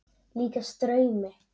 Líkast draumi.